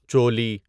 چولی